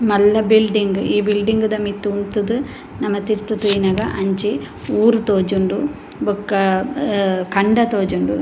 ಮಲ್ಲ ಬಿಲ್ಡಿಂಗ್ ಈ ಬಿಲ್ಡಿಂಗ್ ದ ಮಿತ್ತ್ ಉಂತುದು ನಮ ತಿರ್ತ್ ತೂಯಿನಗ ಅಂಚಿ ಊರು ತೋಜುಂಡು ಬೊಕ ಅಹ್ ಕಂಡ ತೋಜುಂಡು.